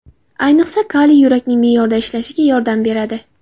Ayniqsa, kaliy yurakning me’yorda ishlashiga yordam beradi.